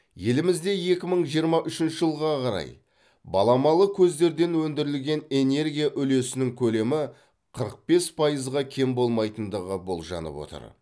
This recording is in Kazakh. елімізде екі мың жиырма үшінші жылға қарай баламалы көздерден өндірілген энергия үлесінің көлемі қырық бес пайызға кем болмайтындығы болжанып отыр